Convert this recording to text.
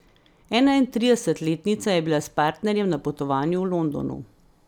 Enaintridesetletnica je bila s partnerjem na potovanju v Londonu.